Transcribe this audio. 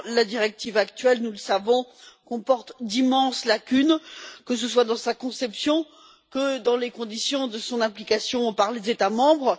Or, la directive actuelle nous le savons comporte d'immenses lacunes, que ce soit dans sa conception ou dans les conditions de son application par les États membres.